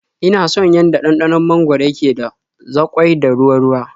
Ina son yanda ɗanɗanon mangwaro yake da zaƙoi da ruwa-ruwa.